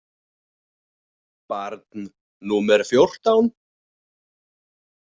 Barn númer fjórtán.